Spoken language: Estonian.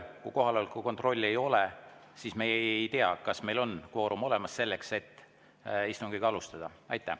Kui kohaloleku kontrolli ei ole, siis me ei tea, kas meil on kvoorum olemas selleks, et istungit alustada.